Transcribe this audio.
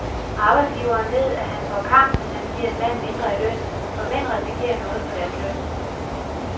Arbejdsgiveren ved, at han får kamp, hvis han giver en mand mindre i løn, for mænd risikerer noget for deres løn.